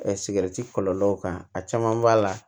kɔlɔlɔw kan a caman b'a la